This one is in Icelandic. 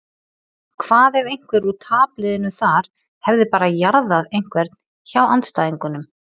Hvað ef einhver úr tapliðinu þar hefði bara jarðað einhvern hjá andstæðingunum?